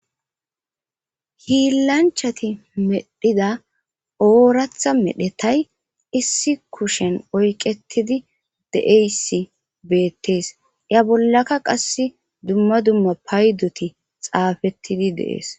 hiilanchati medhida ooratha medhetay issi kushen oyqetidi de7eyssi beettees iya bollaka qass dumma dumma paydoti xaafettidi deees